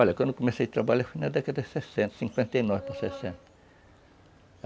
Olha, quando eu comecei a trabalhar foi na década de sessenta, cinquenta e nove para sessenta.